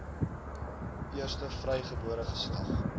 eerste vrygebore geslag